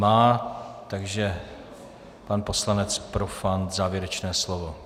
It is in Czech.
Má, takže pan poslanec Profant závěrečné slovo.